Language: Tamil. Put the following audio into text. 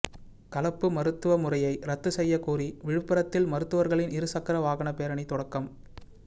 கலப்பு மருத்துவமுறையை ரத்து செய்யக்கோரி விழுப்புரத்தில் மருத்துவர்களின் இருசக்கர வாகன பேரணி தொடக்கம்